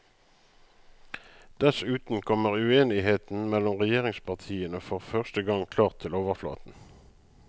Dessuten kommer uenigheten mellom regjeringspartiene for første gang klart til overflaten.